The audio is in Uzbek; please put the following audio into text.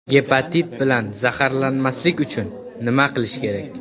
Gepatit bilan zararlanmaslik uchun nima qilish kerak?